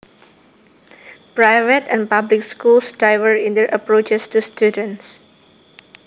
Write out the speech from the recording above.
Private and public schools differ in their approaches to students